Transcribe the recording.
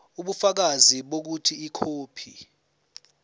ubufakazi bokuthi ikhophi